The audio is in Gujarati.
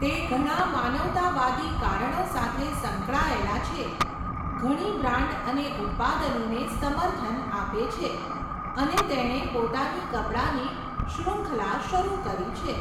તે ઘણા માનવતાવાદી કારણો સાથે સંકળાયેલા છે, ઘણી બ્રાન્ડ અને ઉત્પાદનોને સમર્થન આપે છે અને તેણે પોતાની કપડાની શ્રુંખલા શરૂ કરી છે.